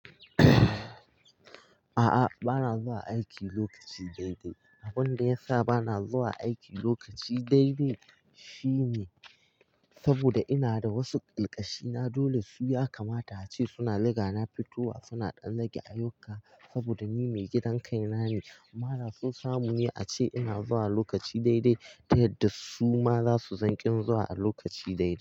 A'a, bana zuwa aiki lokaci dai-dai. Abin da ya sa bana zuwa aiki lokaci dai-dai shine saboda ina da wasu ƙalkashina dole su ya kamata a ce suna riga na fitowa, suna ɗan dage ayyuka saboda ni mai gidan kai na ne. Amma da so samu ne a ce ina zuwa lokaci dai-dai ta yadda su ma za su san ƙin zuwa a lokaci dai-dai.